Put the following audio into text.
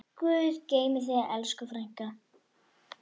Guð geymi þig, elsku frænka.